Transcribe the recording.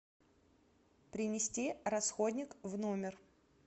принести расходник в номер